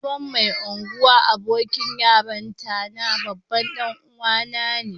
Sabon Mai Ungwan abokin yaranta na babban dan uwa na ne.